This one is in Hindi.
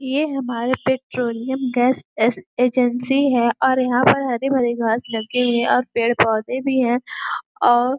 ये हमारे पेट्रोलियम गैस यस एजेंसी है और यहाँ पर हरे भरे घास लगे है और पेड़ पौधे भी है और --